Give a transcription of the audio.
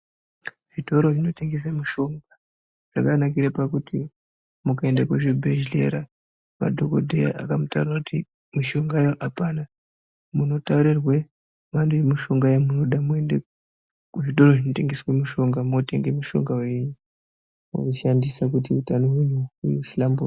Zvitoro zvinotengesa mishonga zvakanakire kuti ukaenda kuzvibhedhlera madhokodheya akamutaurire kuti mishongayo apana munotaurirwe mhando yemushonga yamoda moende kuzvitoro zvinotenbese mushonga mwotenga mushonga wenyu mwoushandisa kuti utano hwenyu huhlamburike.